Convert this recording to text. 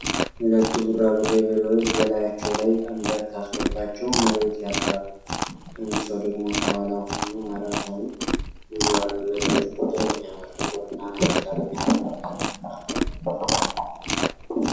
ሁለት ቡራቡሬ በሬዎች በላያቸው ላይ ቀንበር ታስሮባቸው መሬት ያርሳሉ አንድ ሰው ደግሞ ከኋላ ሆኖ ማረሳውን ይዟል። የበሬዎቹ ቆዳ የሚያምር ጥቁር እና ነጭ ቀለም ያረፈበት ነው።